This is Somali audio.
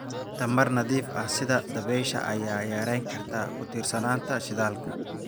Tamar nadiif ah sida dabaysha ayaa yarayn karta ku tiirsanaanta shidaalka.